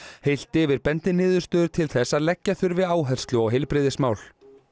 heilt yfir bendi niðurstöður til þess að leggja þurfi áherslu á heilbrigðismál